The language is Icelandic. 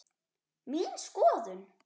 Mín skoðun?